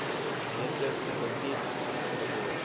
meter foutief geword